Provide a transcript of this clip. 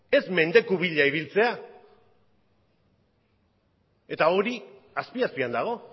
ez mendeku bila ibiltzea eta hori azpi azpian dago